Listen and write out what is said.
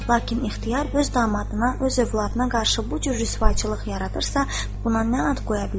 Lakin ixtiyar öz damadına, öz övladına qarşı bu cür rüsvaçılıq yaradırsa, buna nə ad qoya bilərik?